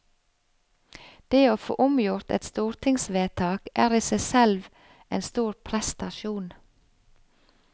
Det å få omgjort et stortingsvedtak er i seg selv en stor prestasjon.